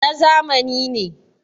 na zamani ne